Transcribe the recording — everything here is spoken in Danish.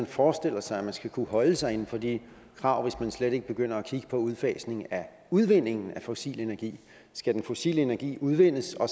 forestiller sig man skal kunne holde sig inden for de krav hvis man slet ikke begynder at kigge på udfasningen af udvindingen af fossil energi skal den fossile energi udvindes og